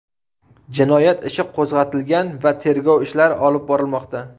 Jinoyat ishi qo‘zg‘atilgan va tergov ishlari olib borilmoqda.